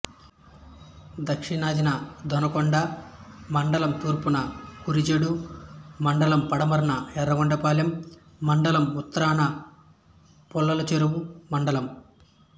దక్షణాన దొనకొండ మండలంతూర్పున కురిచేడు మండలంపడమరన యర్రగొండపాలెం మండలంఉత్తరాన పుల్లలచెరువు మండలం